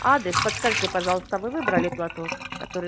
адрес подскажите пожалуйста вы выбрали платок